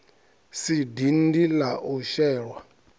si dindi la u shelwa